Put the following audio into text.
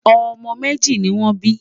ọmọ méjì nì wón bí